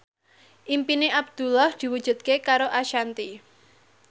impine Abdullah diwujudke karo Ashanti